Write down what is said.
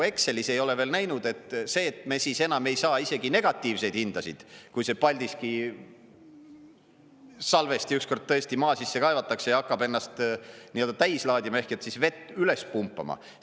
Excelis ei ole veel näinud, see, et me siis enam ei saa isegi negatiivseid hindasid, kui see Paldiski salvesti üks kord tõesti maa sisse kaevatakse ja hakkab ennast täis laadima ehk siis vett üles pumpama.